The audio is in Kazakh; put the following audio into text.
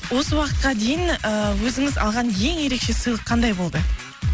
осы уақытқа дейін ііі өзіңіз алған ең ерекше сыйлық қандай болды